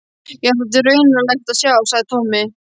Já, þetta er raunalegt að sjá, sagði Tommi.